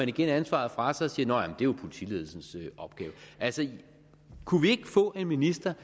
igen ansvaret fra sig og siger nå ja det jo politiledelsens opgave altså kunne vi ikke få en minister